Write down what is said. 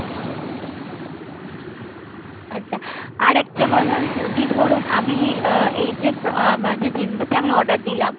আচ্ছা আরেকটা কথা যদি ধরুন আমি আ~ এই যে আমার যে jeans টা আমি order দিলাম